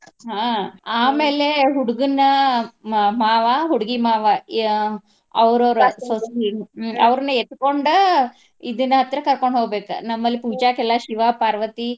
ಹ್ಮ್ ಆಮೇಲೆ ಹುಡ್ಗನ ಮ~ ಮಾವಾ ಹುಡ್ಗಿ ಮಾವಾ ಆಹ್ ಅವ್ರ ಅವ್ರ ಅವ್ರನ್ ಎತ್ಕೊಂಡ ಇದರ ಹತ್ರ ಕರ್ಕೊಂಡ್ ಹೋಗ್ಬೇಕ ನಮ್ಮ್ ಲ್ಲಿ ಪೂಜಾಕ ಎಲ್ಲಾ ಶಿವಾ, ಪಾರ್ವತಿ.